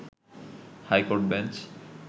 high court bench